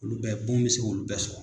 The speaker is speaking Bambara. Olu bɛɛ bon bi se k'olu bɛɛ sɔrɔ.